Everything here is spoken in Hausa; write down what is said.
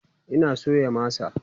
Ina soya masa